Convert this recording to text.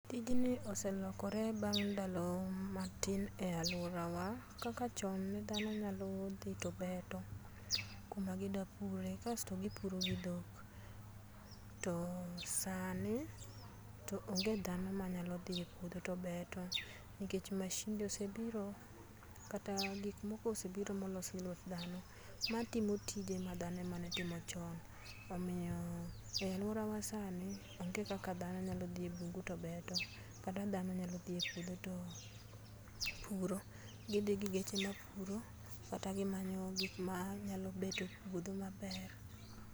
Tijni oselokore bang ndalo matin e aluorawa, kaka chon ne dhano nyalo dhi to beto kuma gi da pure, kasto gi puro gi dhok, to sani to onge dhano manyalo dhi e puodho to beto, nikech mashinde osebiro kata gik moko osebiro molos gi lwet dhano, matimo tije ma dhano emane timo chon. Omiyo e aluorawa sani onge kaka dhano nyalo dhii e bungu to beto kata dhano nyalo dhi e puodho to puro, gidhii gi geche mapuro kata gimanyo gik manyalo beto puodho maber.